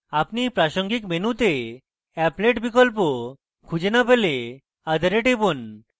আপনি এই প্রাসঙ্গিক মেনুতে applet বিকল্প খুঁজে না পেলে other এ টিপুন